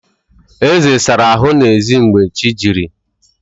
Eze sara ahụ n'ezi mgbe chi jiri